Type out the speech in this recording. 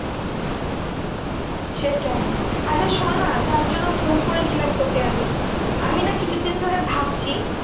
সেটাই আচ্ছা শোননা, যার জন্য ফোন করেছিলাম তোকে আমি। আমি না কিছু দিন ধরে ভাবছি